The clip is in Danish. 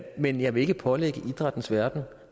men jeg vil ikke pålægge idrættens verden